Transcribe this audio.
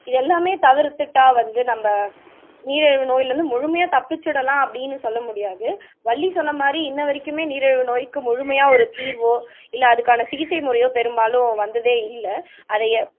இதெல்லாமே தவிர்த்துட்டா வந்து நம்ம நீரழிவு நோயில இருந்து முழுமையா தப்பிச்சுடலாம் அப்படீன்னு சொல்ல முடியாது வள்ளி சொன்ன மாதிரி இன்னவரைக்குமே நீரிழிவு நோய்க்கு முழுமையா ஒரு தீர்வோ இல்ல அதுக்கான சிகிச்சை முறையோ பெரும்பாலும் வந்ததே இல்ல அதைய